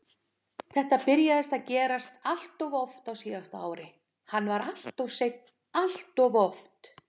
Þetta byrjaði að gerast alltof oft á síðasta ári, hann var alltof seinn alltof oft.